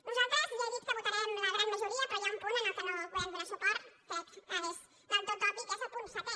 nosaltres ja he dit que en votarem la gran majoria però hi ha un punt al qual no podem donar suport crec que és del tot obvi que és el punt setè